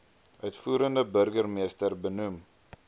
uitvoerende burgemeester benoem